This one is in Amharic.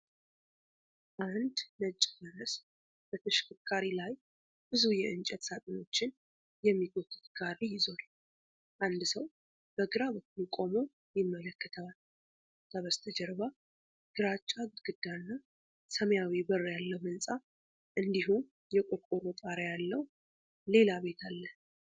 አንድ ነጭ ፈረስ በተሽከርካሪ ላይ ብዙ የእንጨት ሳጥኖችን የሚጎትት ጋሪ ይዟል። አንድ ሰው በግራ በኩል ቆሞ ይመለከተዋል። ከበስተጀርባ ግራጫ ግድግዳ እና ሰማያዊ በር ያለው ሕንፃ እንዲሁም የቆርቆሮ ጣሪያ ያለው ሌላ ቤት አለ።